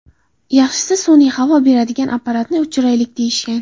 Yaxshisi sun’iy havo beradigan apparatni o‘chiraylik”, deyishgan.